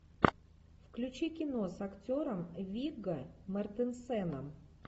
включи кино с актером вигго мортенсеном